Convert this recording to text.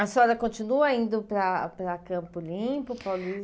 A senhora continua indo para para Campo Limpo Paulista?